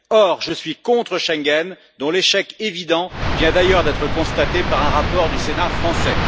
Or, je suis contre Schengen, dont l'échec évident vient d'ailleurs d'être constaté par un rapport du Sénat français.